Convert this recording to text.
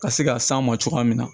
Ka se ka s'an ma cogoya min na